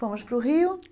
Fomos para o Rio.